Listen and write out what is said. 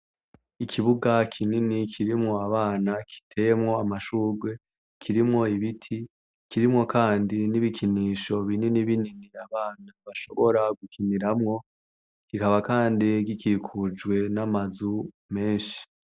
Ikibuga kinini kirimwo abana, giteyemwo amashugwe, kirimwo ibiti, kirimwo Kandi n’ibikinisho binini binini abana bashobora gukiniramwo. Kikaba kandi gikikujwe n’amazu menshi.